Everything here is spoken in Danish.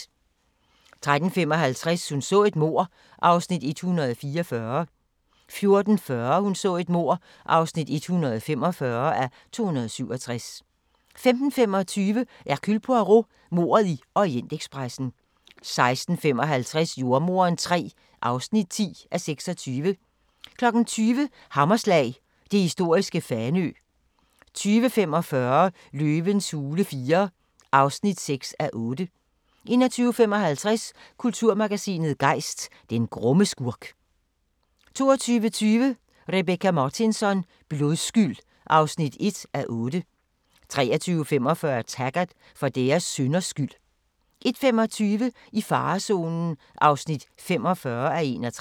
13:55: Hun så et mord (144:267) 14:40: Hun så et mord (145:267) 15:25: Hercule Poirot: Mordet i Orientekspressen 16:55: Jordemoderen III (10:26) 20:00: Hammerslag – det historiske Fanø 20:45: Løvens hule IV (6:8) 21:55: Kulturmagasinet Gejst: Den grumme skurk 22:20: Rebecka Martinsson: Blodskyld (1:8) 23:45: Taggart: For deres synders skyld 01:25: I farezonen (45:61)